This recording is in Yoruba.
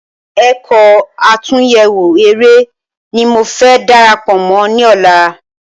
Ẹ̀kọ́ àtúnyẹwò eré ní mo fẹ́ darapọ Mọ ní ọ̀la